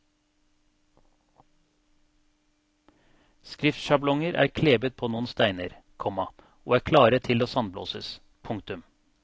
Skriftsjablonger er klebet på noen steiner, komma og er klare til å sandblåses. punktum